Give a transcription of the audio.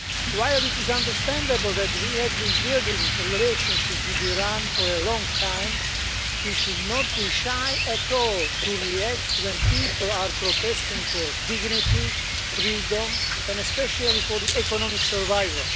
While it is understandable that we had been building a relationship with Iran for a long time, we should not be at all shy to react when people are protesting for dignity, freedom and especially for their economic survival.